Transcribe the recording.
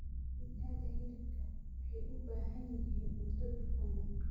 Digaaga hilibka waxay u baahan yihiin cunto dufan leh.